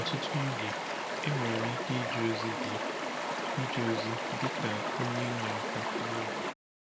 Ọtụtụ oge, enwere m ike ije ozi dị ije ozi dị ka onye inyeaka nwa oge.